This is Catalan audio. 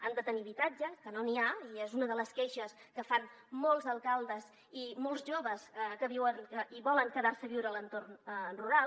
han de tenir habitatge que no n’hi ha i és una de les queixes que fan molts alcaldes i molts joves que viuen i volen quedar se a viure a l’entorn rural